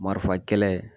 Marifa kɛlɛ